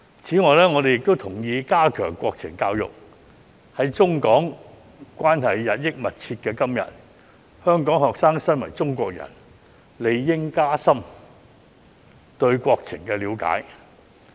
此外，我同意加強國情教育，在中港關係日益密切的今天，香港學生身為中國人，理應加深對國情的了解。